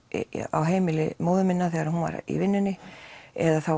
á heimili móður minnar þegar hún var í vinnunni eða þá